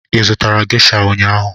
ị zụtara gesha ụnyaahụ?